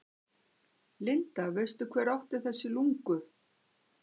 Linda: Veistu hver átti þessi lungu?